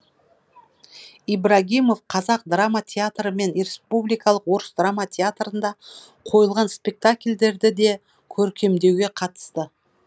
ибрагимов қазақ драма театры мен республикалық орыс драма театрында қойылған спектакльдерді де көркемдеуге қатысты